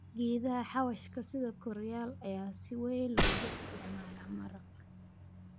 Geedaha xawaashka sida koriyaal ayaa si weyn loogu isticmaalaa maraq.